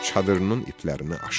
Çadırının iplərini açdı.